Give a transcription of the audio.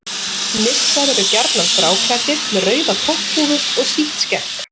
nissar eru gjarnan gráklæddir með rauða topphúfu og sítt skegg